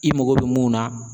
I mago bɛ mun na